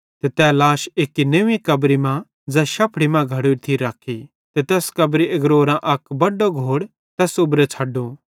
ते तै लाश एक्की नव्वीं कब्री मां ज़ै शफ़ड़ी मां घड़ोरी थी रखी ते तैस कब्री आग्रोरां अक बड्डो घोड़ तैस उबरो छ़ड्डो